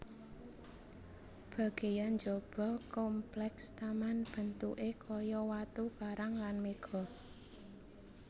Bagéyan njaba komplèks taman bentuké kaya watu karang lan méga